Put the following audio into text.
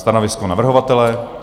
Stanovisko navrhovatele?